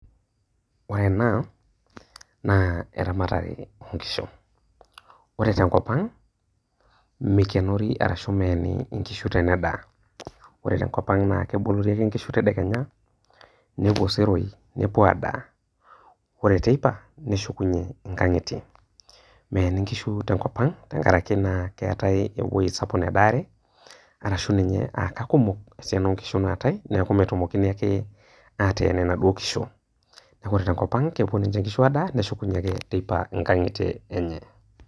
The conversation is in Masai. Ore ena naa eramatare oonkishu. Ore tenkopang meikinori arashu meeni nkishu tene daa. Ore tenkopang naa kebolori ake inkishu tadekenya ,nepuo iseroi , nepuo adaa, ore teipa neshukunyie nkangitie. Meeni nkishu tenkop ang tenkaraki naa keetae ewueji sapuk nedaare arashu ninye aa kakumok esiana oonkishu naatae niaku metumokini ake ateen inaduoo kishu. Ore tenkop ang , kepuo ninche nkishu adaa nepuo ninche nkangitie enye.